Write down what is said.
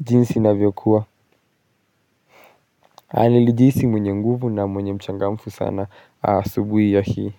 jinsi navyokuwa. Nilijihisi mwenye nguvu na mwenye mchangamfu sana asubuhi ya hii.